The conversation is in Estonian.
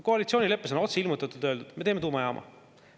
Koalitsioonileppes on otse öeldud, et me teeme tuumajaama.